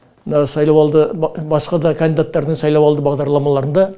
мына сайлауалды басқа да кандидаттардың сайлауалды бағдарламаларында